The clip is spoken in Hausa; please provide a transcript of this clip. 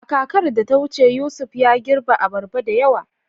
A kakar da ta wuce, Yusuf ya girbe abarba da yawa.